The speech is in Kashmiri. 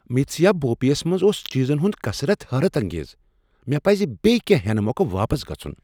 متسیا بوفے یس منٛز اوس چیزن ہُند کثرت حیرت انگیز۔ مےٚ پٕزِ بیٚیہ کیٚنہہ ہینہ مۄکھٕ واپس گژُھن ۔